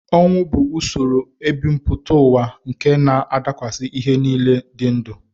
Ọnwụ bụ usoro ebumpụta ụwa nke na-adakwasị ihe niile dị ndụ